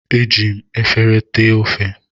Eji m efere ti ofe.